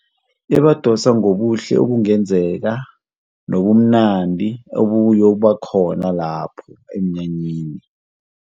Bebadosa ngobuhle obungenzeka nobumnandi obuyokuba khona lapho emnyanyeni.